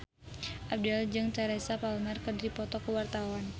Abdel jeung Teresa Palmer keur dipoto ku wartawan